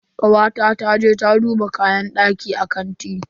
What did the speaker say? Kawata ta je ta duba kayan daki a kanti.